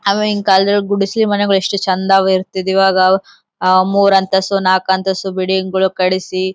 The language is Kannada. ಅವಾಗಿನ್ ಕಾಲದಲ್ ಗುಡಿಸಿಲುಗಳು ಎಷ್ಟು ಚೆಂದ ಇರ್ತ್ತಿದ್ವಿ ಇವಾಗ ಆ ಮೂರೂ ಅಂತಸ್ತು ನಾಲ್ಕು ಅಂತಸ್ತು ಬಿಲ್ಡಿಂಗ್ ಗಳು ಕಟ್ಟಿಸಿ--